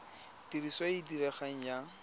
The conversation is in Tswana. tiriso e e diregang ya